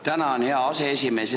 Tänan, hea aseesimees!